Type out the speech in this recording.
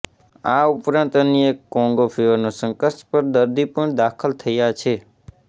આ ઉપરાંત અન્ય એક કોંગો ફીવરનો શંકાસ્પદ દર્દી પણ દાખલ થયા છે